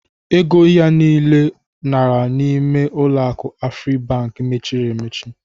Ego ya niile lara n'ime ụlọaku Afribank mechiri emechi.